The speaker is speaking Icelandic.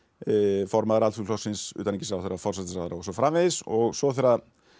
formaður Alþýðuflokksins utanríkisráðherra forsætisráðherra og svo framvegis og svo þegar